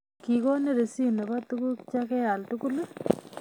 Kigonin risitit nebo tuguk chegeal tugul